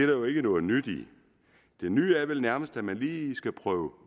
jo ikke noget nyt i det nye er vel nærmest at man lige skal prøve